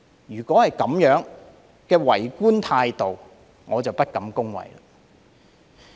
如是者，這種為官態度，我實在不敢恭維。